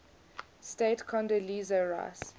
state condoleezza rice